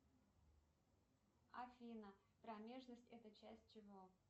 афина промежность это часть чего